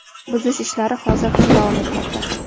Buzish ishlari hozir ham davom etmoqda.